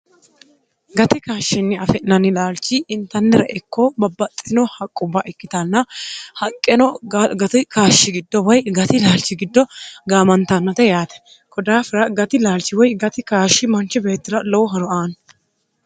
gati kaashshinni afe'nanni laalchi intannira ikkoo babbaxxino haqqubba ikkitanna haqqeno gati kaashshi giddo woy gati laalchi giddo gaamantannote yaate kodaafira gati laalchi woy gati kaashshi manchi beetira lowo horo aani